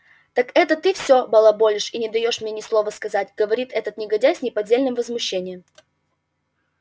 так это ты все балаболишь и не даёшь мне ни слова сказать говорит этот негодяй с неподдельным возмущением